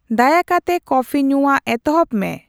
ᱫᱟᱭᱟᱠᱟᱛᱮ ᱠᱚᱯᱷᱤ ᱧᱩᱣᱟᱜ ᱮᱛᱚᱦᱚᱵ ᱢᱮ